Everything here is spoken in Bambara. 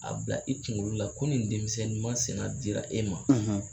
A bila i kunkolo la ko nin denmisɛnnin masina dira e ma.